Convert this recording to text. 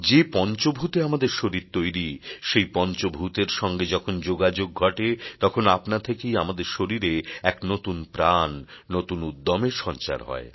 যে পঞ্চভূতে আমাদের শরীর তৈরি সেই পঞ্চভূতের সঙ্গে যখন যোগাযোগ ঘটে তখন আপনা থেকেই আমাদের শরীরে এক নতুন প্রাণ নতুন উদ্যমের সঞ্চার হয়